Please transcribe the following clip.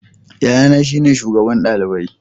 Yayana shine shugaban dalibai.